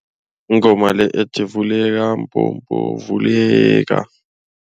Ingoma le ethi vuleka mbobo vuleka.